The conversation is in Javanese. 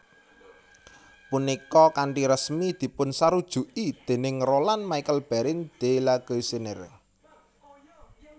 Punika kanthi resmi dipunsarujuki déning Roland Michel Barrin de La Galissonière